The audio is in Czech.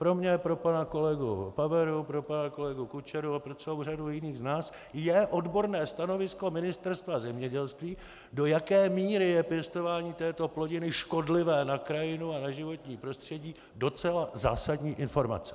Pro mě, pro pana kolegu Paveru, pro pana kolegu Kučeru a pro celou řadu jiných z nás je odborné stanovisko Ministerstva zemědělství, do jaké míry je pěstování této plodiny škodlivé na krajinu a na životní prostředí, docela zásadní informace.